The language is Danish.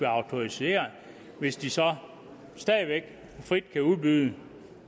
autoriserede hvis de så stadig væk frit kan udbyde